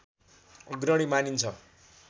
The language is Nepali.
अग्रणी मानिन्छ